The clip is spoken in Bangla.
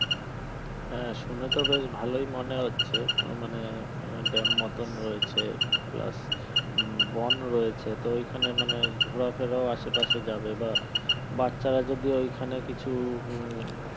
হ্যাঁ শুনে তো বেশ ভালোই মনে হচ্ছ মানে dam মতন রয়েছে plus বোন রয়েছে তো ওখানেও মানে ঘোরাফেরা আশেপাশে যাবে বা বাচ্চারা যদি ওইখানে কিছু উম